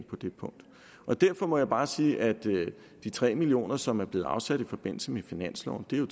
på det punkt derfor må jeg bare sige at de tre million kr som er blevet afsat i forbindelse med finansloven jo